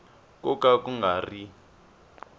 ko ka ku nga ri